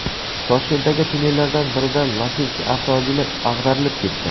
Toshkentdagi tunnellardan birida Lacetti avtomobili ag‘darilib ketdi.